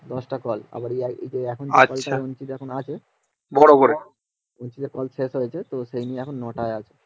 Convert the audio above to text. দশটা call আবার এখন যে আচ্ছা বড়োকরে Meeting call শেষ হয়েছে তো সেই নিয়ে এখন মতায়ত